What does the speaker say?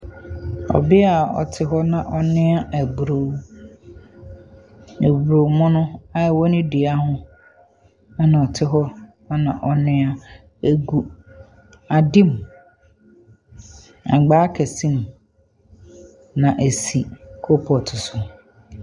Ɔbea a ɔte hɔ na ɔnoa eburow, ebuormono a ɛwɔ ne dua ho na ɔte hɔ na ɔnoa. Egu ade mu, agbaa kɛse mu, na esi coalpot so.